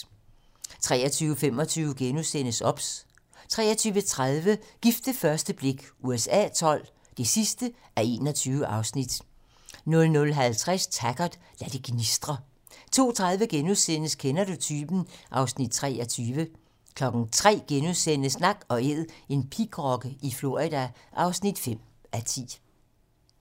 23:25: OBS * 23:30: Gift ved første blik USA XII (21:21) 00:50: Taggart: Lad det gnistre 02:30: Kender du typen? (Afs. 23)* 03:00: Nak & Æd - en pigrokke i Florida (5:10)*